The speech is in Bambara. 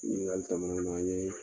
Nin yinikali tɔ